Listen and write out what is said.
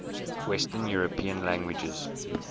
western european languages